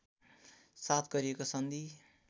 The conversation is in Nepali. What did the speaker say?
साथ गरिएको सन्धि